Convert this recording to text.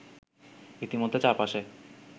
ইতিমধ্যে চার পাশে